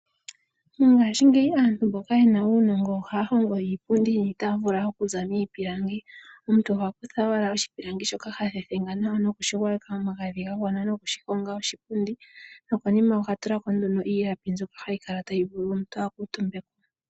Mongashingeyi aantu mboka yena uunongo ohaya hongo iipundi niitaafula okuza miipilangi. Omuntu oha kutha owala oshipilangi shoka ha thethenga nawa, no kushi gwayeka omagadhi ga gwana, no kushi honga oshipundi. No konima oha tula ko nduno iilapi mbyoka hayi kala tayi vulu omuntu a kuutumbe ko.